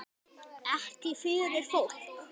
Ekki fyrir fólk?